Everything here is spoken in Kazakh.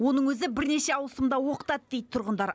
оның өзі бірнеше ауысымда оқытады дейді тұрғындар